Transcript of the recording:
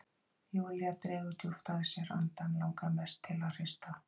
Júlía dregur djúpt að sér andann, langar mest til að hrista